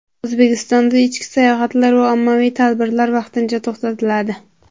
O‘zbekistonda ichki sayohatlar va ommaviy tadbirlar vaqtincha to‘xtatiladi.